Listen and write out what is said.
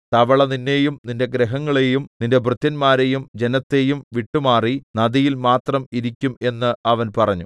തവള നിന്നെയും നിന്റെ ഗൃഹങ്ങളെയും നിന്റെ ഭൃത്യന്മാരെയും ജനത്തെയും വിട്ടുമാറി നദിയിൽ മാത്രം ഇരിക്കും എന്ന് അവൻ പറഞ്ഞു